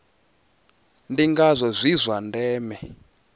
ndi ngazwo zwi zwa ndeme